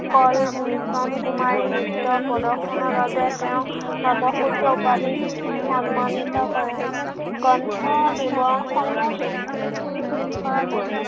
কল মিচন কুমাৰী নৃত্য প্ৰদৰ্শনৰ বাবে তেওঁক নটসূৰ্য উপাধি সন্মানিত কৰে গ্ৰন্থ বিবৰণ সমূহ উম